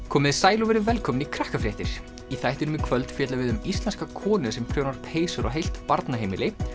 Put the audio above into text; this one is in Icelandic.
komiði sæl og verið velkomin í Krakkafréttir í þættinum í kvöld fjöllum við um íslenska konu sem prjónar peysur á heilt barnaheimili